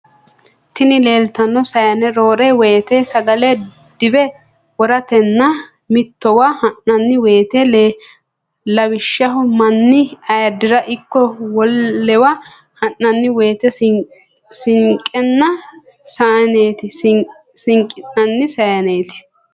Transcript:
tini leeltanno saane roore woyite sagale diwe woratenna mitowa ha'nanni woyte lawishshaho manni ayiddira ikko wolewa ha'nanni woyte sinqi'nanni saaneeti.